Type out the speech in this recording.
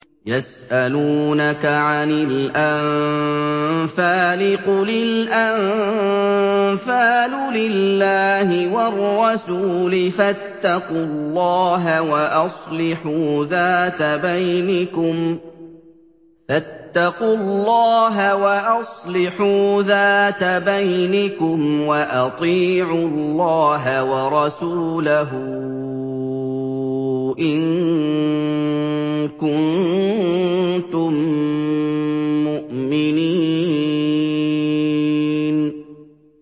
يَسْأَلُونَكَ عَنِ الْأَنفَالِ ۖ قُلِ الْأَنفَالُ لِلَّهِ وَالرَّسُولِ ۖ فَاتَّقُوا اللَّهَ وَأَصْلِحُوا ذَاتَ بَيْنِكُمْ ۖ وَأَطِيعُوا اللَّهَ وَرَسُولَهُ إِن كُنتُم مُّؤْمِنِينَ